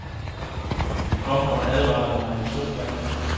De kom og advarede mig to gange.